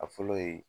A fɔlɔ ye